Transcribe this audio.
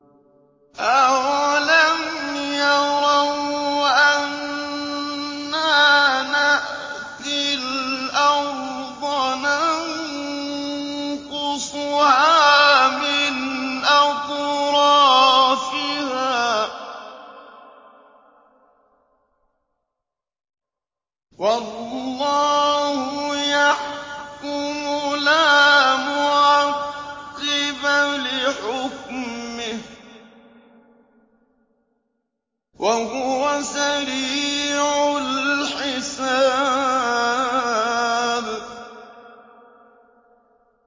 أَوَلَمْ يَرَوْا أَنَّا نَأْتِي الْأَرْضَ نَنقُصُهَا مِنْ أَطْرَافِهَا ۚ وَاللَّهُ يَحْكُمُ لَا مُعَقِّبَ لِحُكْمِهِ ۚ وَهُوَ سَرِيعُ الْحِسَابِ